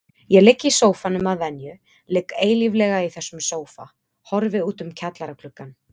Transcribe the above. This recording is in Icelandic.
Ég ligg í sófanum að venju, ligg eilíflega í þessum sófa, horfi út um kjallaragluggann.